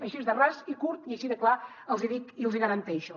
així de ras i curt i així de clar els hi dic i els garanteixo